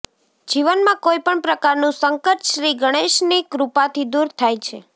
જીવનમાં કોઈપણ પ્રકારનું સંકટ શ્રી ગણેશની કૃપાથી દૂર થાય છે